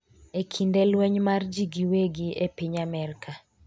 e kinde lweny mar jii gi wegi e piny Amerka